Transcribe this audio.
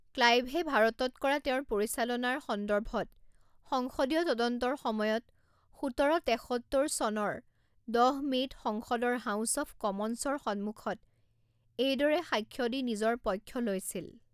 ক্লাইভে ভাৰতত কৰা তেওঁৰ পৰিচালনাৰ সন্দৰ্ভত সংসদীয় তদন্তৰ সময়ত সোতৰ তেসত্তৰ চনৰ দহ মে'ত সংসদৰ হাউছ অৱ কমনছৰ সন্মুখত এইদৰে সাক্ষ্য দি নিজৰ পক্ষ লৈছিল